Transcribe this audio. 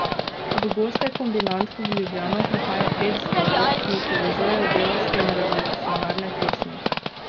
V goste Kombinatk v Ljubljano prihaja pet zborov, ki jih povezujejo delavske in revolucionarne pesmi.